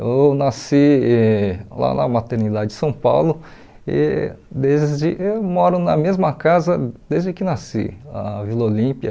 Eu nasci e lá na maternidade de São Paulo e desde eu moro na mesma casa desde que nasci, na Vila Olímpia.